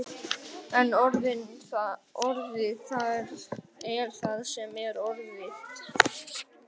En orðið er það sem orðið er.